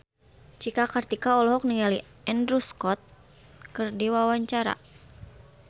Cika Kartika olohok ningali Andrew Scott keur diwawancara